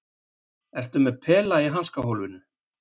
Ertu með pela í hanskahólfinu?